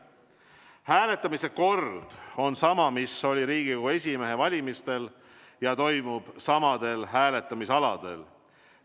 Hääletamise kord on sama, mis Riigikogu esimehe valimisel, ja toimub samadel hääletamisaladel.